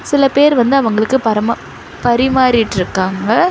சில பேர் வந்து அவங்களுக்கு பரமா பரிமாறிட்டுருக்காங்க.